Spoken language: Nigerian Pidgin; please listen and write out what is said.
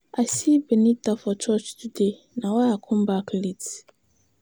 I see Benita for church today na why I come back late.